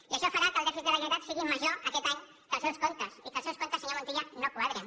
i això farà que el dèficit de la generalitat sigui major aquest any que els seus comptes i que els seus comp tes senyor montilla no quadrin